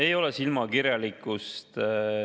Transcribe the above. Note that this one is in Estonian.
Ei ole silmakirjalikkus.